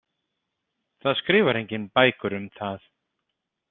Það skrifar enginn bækur um það.